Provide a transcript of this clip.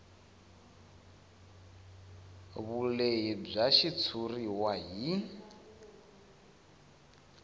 vulehi bya xitshuriwa hi